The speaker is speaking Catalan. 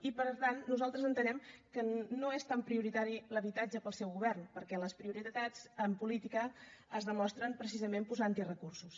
i per tant nosaltres entenem que no és tan prioritari l’habitatge pel seu govern perquè les prioritats en política es demostren precisament posant hi recursos